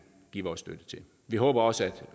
give vores støtte til vi håber også at